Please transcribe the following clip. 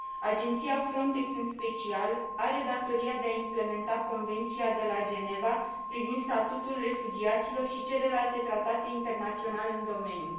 Agenția FRONTEX, în special, are datoria de a implementa Convenția de la Geneva privind statutul refugiaților și celelalte tratate internaționale în domeniu.